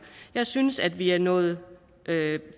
jeg synes vi er nået